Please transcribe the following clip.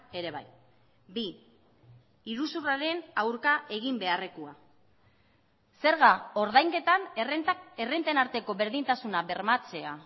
ere bai bi iruzurraren aurka egin beharrekoa zerga ordainketan errentak errenten arteko berdintasuna bermatzea